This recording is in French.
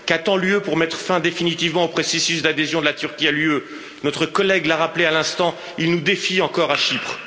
Qu'attend l'Union européenne pour mettre fin définitivement au processus d'adhésion de la Turquie à l'Union? Notre collègue l'a rappelé à l'instant, il nous défie encore à Chypre.